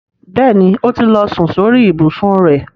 Bẹ́ẹ̀ni, ó ti lọ sun sórí ìbùsùn rẹ̀.